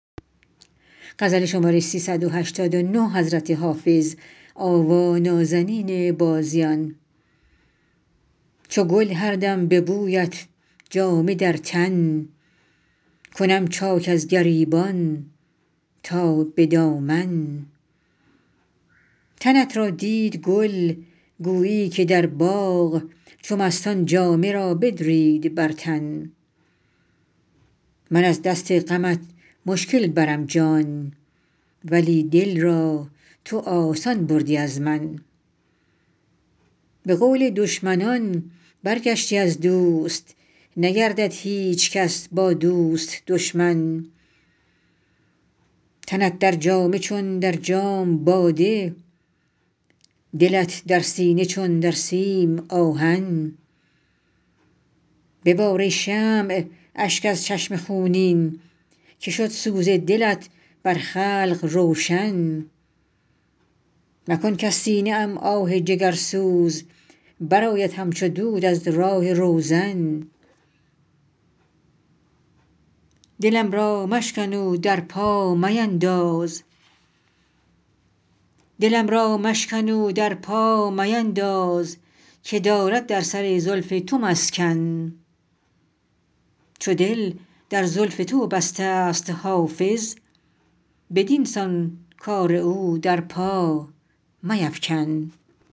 چو گل هر دم به بویت جامه در تن کنم چاک از گریبان تا به دامن تنت را دید گل گویی که در باغ چو مستان جامه را بدرید بر تن من از دست غمت مشکل برم جان ولی دل را تو آسان بردی از من به قول دشمنان برگشتی از دوست نگردد هیچ کس با دوست دشمن تنت در جامه چون در جام باده دلت در سینه چون در سیم آهن ببار ای شمع اشک از چشم خونین که شد سوز دلت بر خلق روشن مکن کز سینه ام آه جگرسوز برآید همچو دود از راه روزن دلم را مشکن و در پا مینداز که دارد در سر زلف تو مسکن چو دل در زلف تو بسته ست حافظ بدین سان کار او در پا میفکن